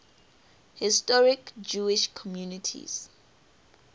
historic jewish communities